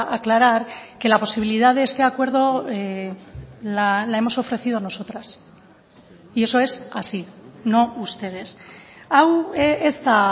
aclarar que la posibilidad de este acuerdo la hemos ofrecido nosotras y eso es así no ustedes hau ez da